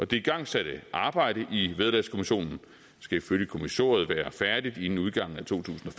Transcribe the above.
det igangsatte arbejde i vederlagskommissionen skal ifølge kommissoriet være færdigt inden udgangen af to tusind